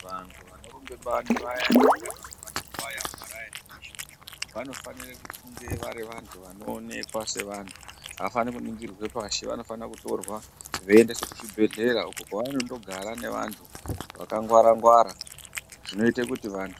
Vantu vanorumbe bani vayani kana kuti vanotwaya mumaraini mweshe umwu vanofanire kufunge vari vantu vanoonekwa sevantu avafani kuningirirwe oashi vanofanire kutirwa uko kwavanondogara nevantu vakangwara ngwara zvinoite kuti vantu.